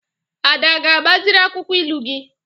Ada a ga-agbaziri akwụkwọ ilu gị?